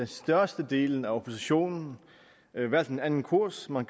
størstedelen af oppositionen valgt en anden kurs man